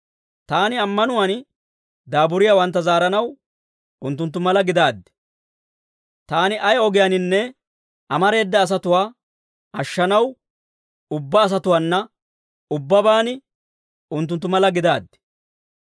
Taani ammanuwaan daaburiyaawantta zaaranaw, unttunttu mala gidaaddi. Taani ay ogiyaaninne amareeda asatuwaa ashshanaw, ubbaa asatuwaana ubbabaan unttunttu mala gidaaddi.